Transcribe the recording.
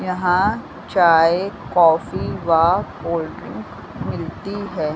यहाँ चाय कॉफी व कोल्ड्रिंक मिलती है।